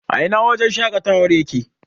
a Ina wajen shaƙatawar yake?